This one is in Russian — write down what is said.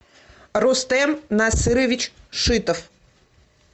рустем насырович шитов